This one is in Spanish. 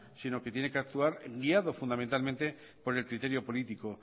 sino que tiene que actuar guiado fundamentalmente por el criterio político